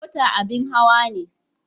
Mota abin hawa ne.